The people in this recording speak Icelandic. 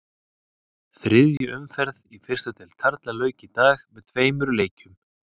Þriðju umferðinni í fyrstu deild karla lauk í dag með tveimur leikjum.